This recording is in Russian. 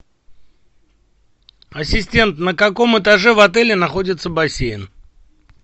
ассистент на каком этаже в отеле находится бассейн